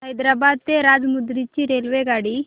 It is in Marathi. हैदराबाद ते राजमुंद्री ची रेल्वेगाडी